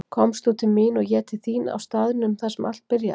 Komst þú til mín og ég til þín á staðnum þar sem allt byrjaði.